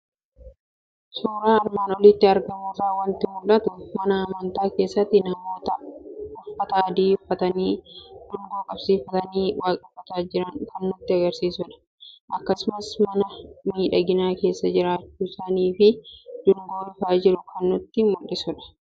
Suuraa armaan olitti argamu irraa waanti mul'atu; mana amantaa keessatti namoota uffata adii uffatanii, dungoo qabsiifatanii waaqeffataa jiran kan nutti agarsiisudha. Akkasumas mana miidhagaa keessa jiraachuu isaaniifi dungoo ifaa jiru kan nutti mul'isudha.